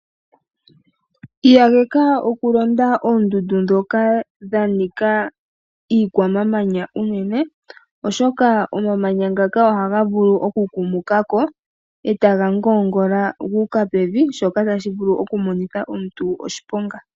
Takamitha oku londa oondundu ndhoka dhanika iikwamamanya unene, oshoka omamanya ngaka oha vulu oku kumukako, eta ga ngoongola gu uka pevi shoka ta shi vulu okumonitha omuntu oshiponga.